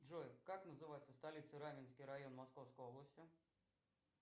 джой как называется столица раменский район московской области